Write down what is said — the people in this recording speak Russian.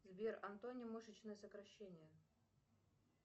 сбер антоним мышечное сокращение